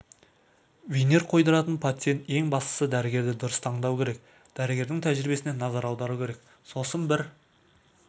винир қойдыратын пациент ең бастысы дәрігерді дұрыс таңдауы керек дәрігердің тәжірибесіне назар аударуы керек сосын бір